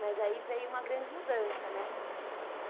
Mas aí veio uma grande mudança, né?